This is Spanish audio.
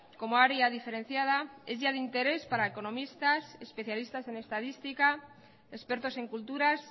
como área diferenciada es ya de interés para economistas especialistas en estadística expertos en culturas